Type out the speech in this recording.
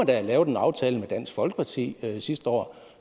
da have lavet en aftale med dansk folkeparti sidste år